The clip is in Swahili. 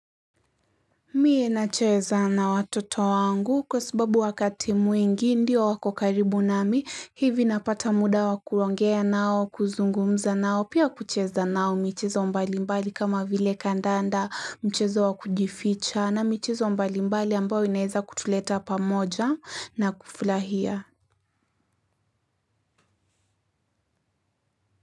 Mie na cheza na watoto wangu kwa sababu wakati mwingi ndio wakokaribu nami hivi napata muda wakuongea nao kuzungumza nao pia kucheza nao michezo mbalimbali kama vile kandanda mchezo wakujificha na michezo mbalimbali ambayo inaweza kutuleta pamoja na kufurahia.